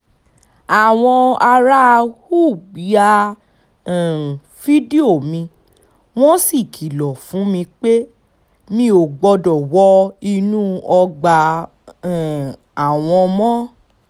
àwọn ará ùb ya um fídíò mi wọ́n sì kìlọ̀ fún mi pé mi ò gbọ́dọ̀ wọ inú ọgbà um àwọn mọ́